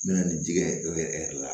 N bɛna nin digi e yɛrɛ la